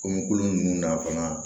Komi kolon ninnu na fana